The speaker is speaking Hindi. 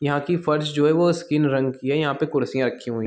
यहाँ की फर्श जो है वो स्किन रंग की है यहाँ पे कुर्सियां रखी हुईं ह --